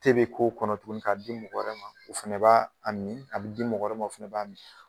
be k'o kɔnɔ tuguni k'a di mɔgɔ wɛrɛ ma o fɛnɛ b'a min, a bɛ di mɔgɔ wɛrɛ ma o fɛnɛ b'a min.